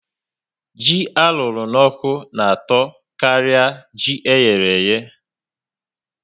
Ji arụrụ n'oku na atọ kari ji eyereye